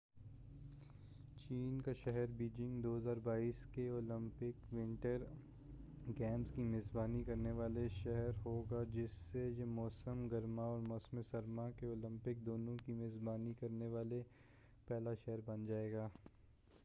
چین کا شہر بیجنگ 2022 کے اولمپک ونٹر گیمز کی میزبانی کرنے والا شہر ہو گا جس سے یہ موسم گرما اور موسم سرما کے اولمپک دونوں کی میزبانی کرنے والا پہلا شہر بن جائے گا